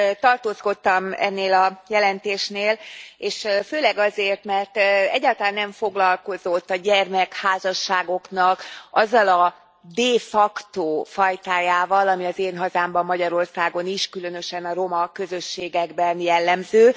Tartózkodtam ennél a jelentésnél, és főleg azért, mert egyáltalán nem foglalkozott a gyermekházasságoknak azzal a de facto fajtájával, ami az én hazámban, Magyarországon is, különösen a roma közösségekben jellemző.